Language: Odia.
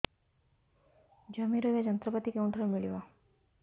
ଜମି ରୋଇବା ଯନ୍ତ୍ରପାତି କେଉଁଠାରୁ ମିଳିବ